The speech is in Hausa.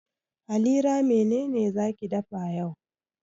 Halira mene ne za ki dafa yau?